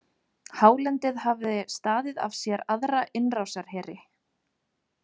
Hálendið hafði staðið af sér aðra innrásarheri.